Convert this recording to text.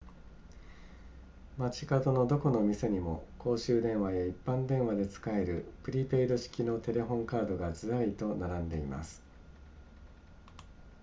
街角のどこの店にも公衆電話や一般電話で使えるプリペイド式のテレホンカードがずらりと並んでいます